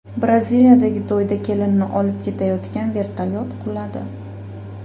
Braziliyadagi to‘yda kelinni olib ketayotgan vertolyot quladi .